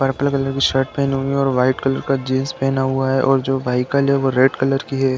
Purple colour की shirt पहनी हुई है और वाइट कलर का जीन्स पहना हुआ है और जो बाइकाल है वो रेड कलर की है।